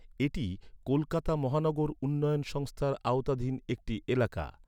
এটি কলকাতা মহানগর উন্নয়ন সংস্থার আওতাধীন একটি এলাকা।